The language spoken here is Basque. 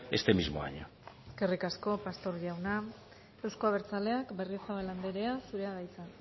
este mismo año eskerrik asko pastor jauna euzko abertzaleak berriozabal andrea zurea da hitza